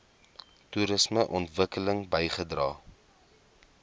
toerisme ontwikkeling bygedra